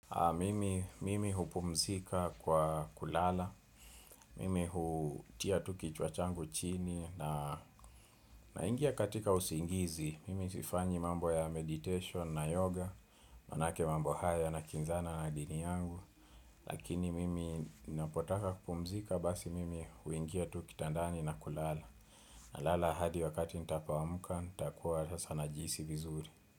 Mimi mimi hupumzika kwa kulala, mimi hutia tu kichwa changu chini naingia katika usingizi, mimi sifanyi mambo ya meditation na yoga, maanake mambo haya yanakinzana na dini yangu, lakini mimi ninapotaka kupumzika basi mimi huingia tu kitandani na kulala, nalala hadi wakati nitakapoamuka, nitakuwa sasa najihisi vizuri.